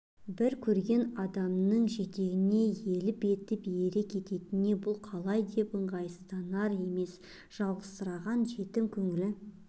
бір көрген адамның жетегіне еліп етіп ере кеткеніне бұл қалай деп ыңғайсызданар емес жалғызсыраған жетім көңілі